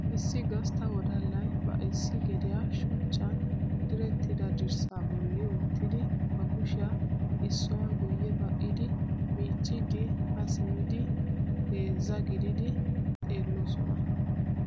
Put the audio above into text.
Issi gastta wodallay ba issi gediya shuchchan direttida dirssaa bolli wottidi ba kushiya issuwa guyye ba'idi miicciiddi haa simmidi heezzaa gididi xeelloosona.